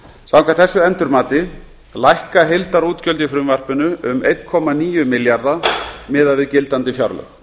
samkvæmt þessu endurmati lækka heildarútgjöld í frumvarpinu um einn komma níu milljarða miðað við gildandi fjárlög